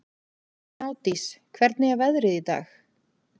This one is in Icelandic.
Gnádís, hvernig er veðrið í dag?